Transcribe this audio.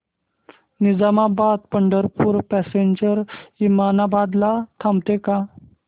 Nizamabad Pandharpur passenger Osmanabad ला थांबते का